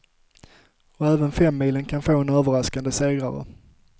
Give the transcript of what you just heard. Och även femmilen kan få en överraskande segrare.